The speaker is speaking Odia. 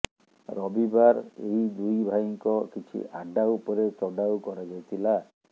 ରବିବାର ଏହି ଦୁଇ ଭାଇଙ୍କର କିଛି ଆଡ୍ଡା ଉପରେ ଚଢ଼ାଉ କରାଯାଇଥିଲା